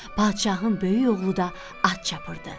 Padşahın böyük oğlu da at çapırdı.